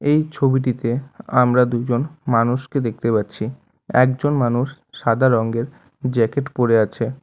এই ছবিটিতে আমরা দুজন মানুষকে দেখতে পাচ্ছি একজন মানুষ সাদা রঙ্গের জ্যাকেট পরে আছে।